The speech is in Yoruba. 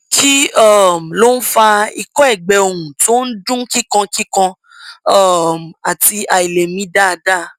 kí um ló ń fa ikọ ẹgbẹ ohùn tó ń dún kíkankíkan um àti àìlèmí dáadáa